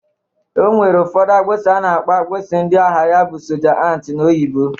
O nwere ụfọdụ akpụsị a na-akpọ akpụsị ndị agha ya bụ soja ant n'oyibo